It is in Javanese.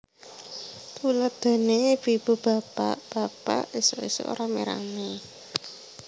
Tuladhané ibu ibu bapak bapak ésuk ésuk ramé ramé